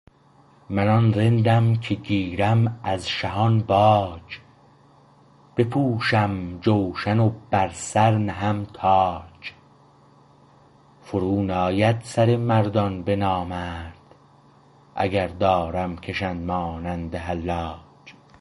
من آن رندم که گیرم از شهان باج بپوشم جوشن و بر سر نهم تاج فرو ناید سر مردان به نامرد اگر دارم کشند مانند حلاج